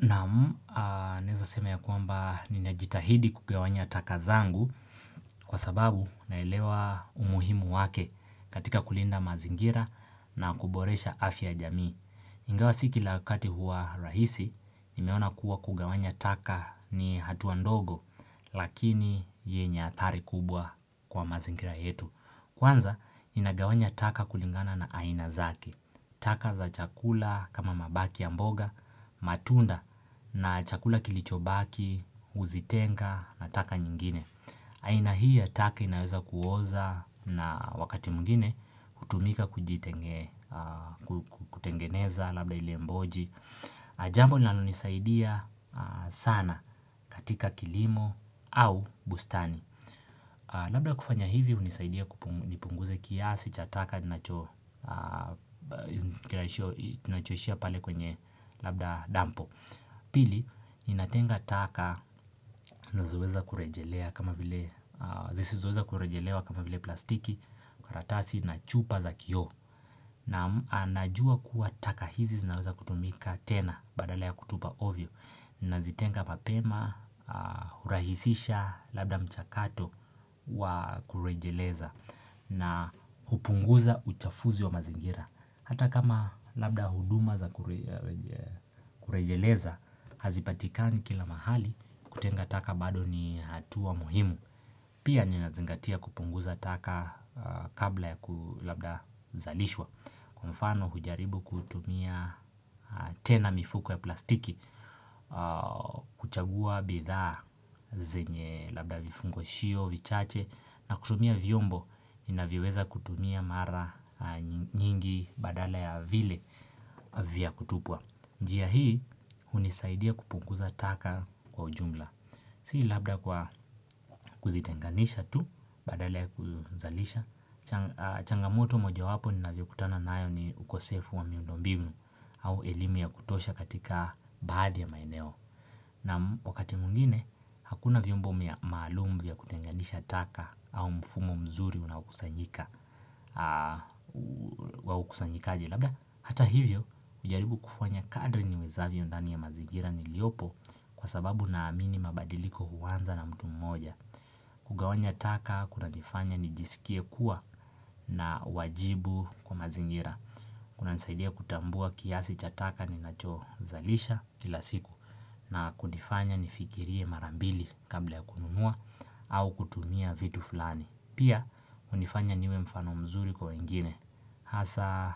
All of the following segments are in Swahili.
Naam, naeza sema ya kwamba ninajitahidi kugawanya taka zangu kwa sababu naelewa umuhimu wake katika kulinda mazingira na kuboresha afya jamii. Ingawa sikila wakati huwa rahisi, nimeona kuwa kugawanya taka ni hatua ndogo lakini yenye athari kubwa kwa mazingira yetu. Kwanza, inagawanya taka kulingana na aina zake. Taka za chakula kama mabaki ya mboga, matunda na chakula kilicho baki, uzitenga na taka nyingine. Aina hii ya taka inaweza kuoza na wakati mwingine hutumika kutengeneza labda ili mboji. Jambo linalonisaidia sana katika kilimo au bustani Labda kufanya hivi unisaidia kupunguze kiasi cha taka ninachoshia pale kwenye labda dampo Pili, ninatenga taka nazoweza kurejelea kama vile plastiki karatasi nachupa za kioo Naam najua kuwa taka hizi zinaweza kutumika tena badala ya kutupa ovyo Nazitenga mapema hurahisisha labda mchakato wa kurejeleza na upunguza uchafuzi wa mazingira Hata kama labda huduma za kurejeleza Hazipatikani kila mahali kutenga taka bado ni hatua muhimu Pia ninazingatia kupunguza taka kabla ya ku labda zalishwa Kwa mfano hujaribu kutumia tena mifuko ya plastiki, kuchagua bithaa zenye labda vifungoshio, vichache, na kutumia vyombo, inavyoweza kutumia mara nyingi badala ya vile vya kutupwa. Njia hii unisaidia kupunguza taka kwa ujumla Si labda kwa kuzitenganisha tu badala kuzalisha changamoto moja wapo ninavyokutana nayo ni ukosefu wa miundombimu au elimu ya kutosha katika baadhi maeneo na wakati mwingine hakuna vyombo mia maalum kutenganisha taka au mfumo mzuri unawakusanyika Waukusanyikaji labda hata hivyo ujaribu kufanya kadri niwezavyo ndani ya mazingira niliopo kwa sababu naamini mabadiliko huanza na mtu mmoja. Kugawanya taka kunanifanya nijisikie kuwa na wajibu kwa mazingira. Kunanisaidia kutambua kiasi cha taka ninacho zalisha kila siku. Na kunifanya nifikirie mara mbili kabla ya kununua ua kutumia vitu flani. Pia hunifanya niwe mfano mzuri kwa wengine hasa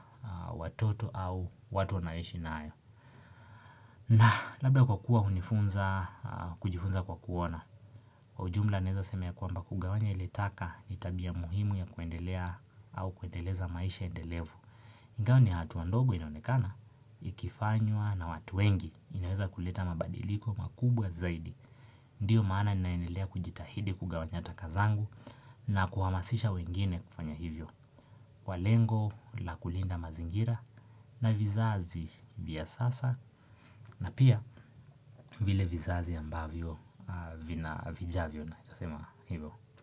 watoto au watu naishi nayo. Na labda kwa kuwa unifunza kujifunza kwa kuona Kwa ujumla naeza sema ya kwamba kugawanya ilitaka ni tabia muhimu ya kuendelea au kuendeleza maisha endelevu Ngao ni hatua ndogo inaonekana Ikifanywa na watu wengi inaweza kuleta mabadiliko makubwa zaidi Ndiyo maana naendelea kujitahidi kugawanya taka zangu na kuhamasisha wengine kufanya hivyo Kwa lengo la kulinda mazingira na vizazi vya sasa na pia vile vizazi ambavyo vina vijavyo na nitasema hivyo.